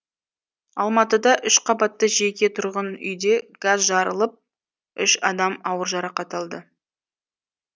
алматыда үш қабатты жеке тұрғын үйде газ жарылып үш адам ауыр жарақат алды